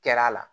Kɛra a la